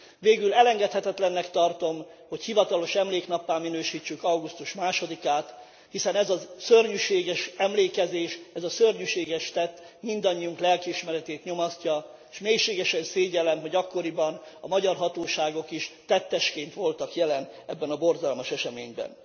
Végül elengedhetetlennek tartom, hogy hivatalos emléknappá minősítsük augusztus 2 át, hiszen ez a szörnyűséges emlékezés, ez a szörnyűséges tett mindannyiunk lelkiismeretét nyomasztja, és mélységesen szégyellem, hogy akkoriban a magyar hatóságok is tettesként voltak jelen ebben a borzalmas eseményben.